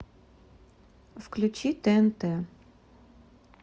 включи тнт